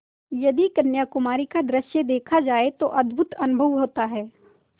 यदि कन्याकुमारी का दृश्य देखा जाए तो अद्भुत अनुभव होता है